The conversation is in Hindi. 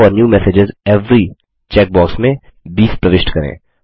check for new messages every check box में 20 प्रविष्ट करें